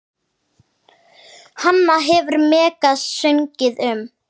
Hana hefur Megas sungið um.